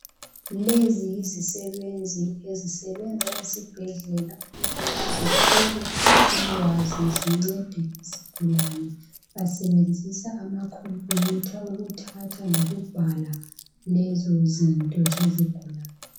Lezi izisebenzi ezisebenza ezibhedlela ukubana zithole ulwazi zincede izigulane basebenzisa amakhompiyutha wokuthatha lokubhala lezo zinto zezigulane